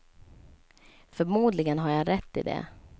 Förmodligen har jag rätt i det.